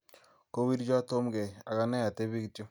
kowircho Tom keii ag anee atebii kityo